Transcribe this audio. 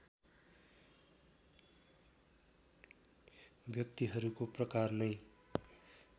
व्यक्तिहरूको प्रकार नै